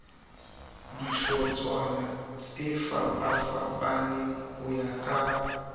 dihlotshwana tsefapafapaneng ho ya ka